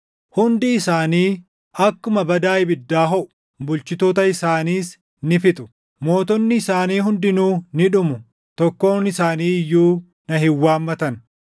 Hundi isaanii akkuma badaa ibiddaa hoʼu; bulchitoota isaaniis ni fixu. Mootonni isaanii hundinuu ni dhumu; tokkoon isaanii iyyuu na hin waammatan.